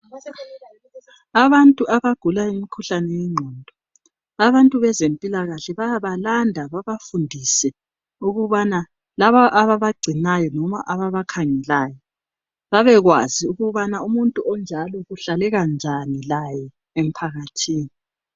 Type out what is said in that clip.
Abantu abagula umkhuhlane wengqondo, abantu bezempilakahle bayabalanda babafundise ukubana labo ababangcinayo loba ababakhangelayo babekwazi ukubana umuntu onjalo kuhlaleka njani laye emphakathini.